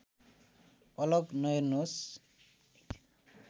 अलग नहेर्नुहोस्